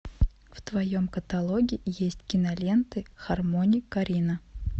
в твоем каталоге есть киноленты хармони корина